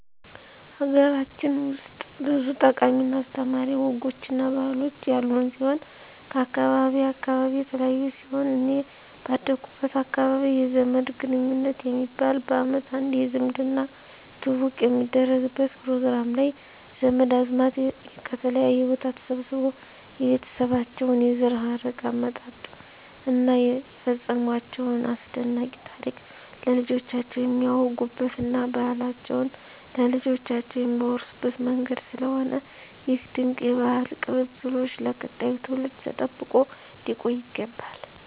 ሀገራችን ውስጥ ብዙ ጠቃሚ እና አስተማሪ ወጎች እና ባህሎች ያሉን ሲሆን ከአካባቢ አካባቢ የተለያዩ ሲሆን እኔ ባደኩበት አካባቢ የዘመድ ግንኙት የሚባል በአመት አንዴ የዝምድና ትውውቅ የሚደረግበት ፕሮግራም ላይ ዘመድ አዝማድ ከተለያየ ቦታ ተሰባስቦ የቤተሰባቸውን የዘር ሀረግ አመጣጥ እና የፈፀሟቸውን አስደናቂ ታሪክ ለልጆቻቸው የሚያወጉበት እና ባህላቸውን ለልጆቻቸው የሚያወርሱበት መንገድ ስለሆነ ይህ ድንቅ የባህል ቅብብሎሽ ለቀጣዩ ትውልድ ተጠብቆ ሊቆይ ይገባል።